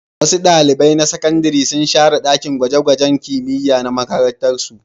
Wasu ɗalibai na sakandare sun share ɗakin gwaje-gwajen kimiyya na makarantarsu.